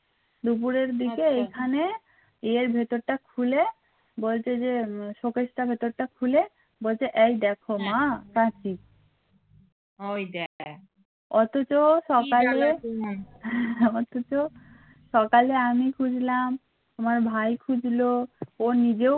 সকালে আমি খুঁজলাম আমার ভাই খুঁজল ও নিজেও